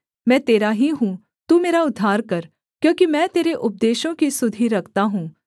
मैं तेरा ही हूँ तू मेरा उद्धार कर क्योंकि मैं तेरे उपदेशों की सुधि रखता हूँ